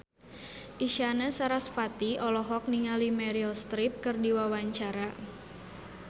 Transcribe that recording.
Isyana Sarasvati olohok ningali Meryl Streep keur diwawancara